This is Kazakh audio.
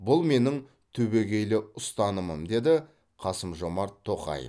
бұл менің түбегейлі ұстанымым деді қасым жомарт тоқаев